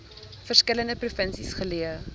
verskillende provinsies geleë